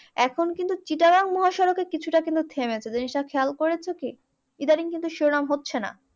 এখন কিন্তু চিটাগাং মহাসড়কে কিছুটা কিন্তু থেমেছে জিনিসটা খেয়াল করেছো কি? ইদানিং কিন্তু শিরোনাম হচ্ছে না।